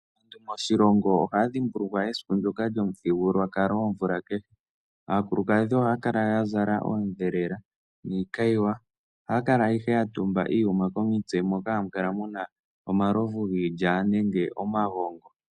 Moshilongo aantu ohaya dhimbulukwa esiku ndjoka lyomuthigululwakalo omvula kehe. Aakulukadhi oha kala ihe ya zala odhelela niikayiwa. Oha kala ihe ya tumba iiyuma komitse moka hamu kala muna omalovu giilya nenge omagongo.